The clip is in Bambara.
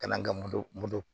Ka na n ka moto moto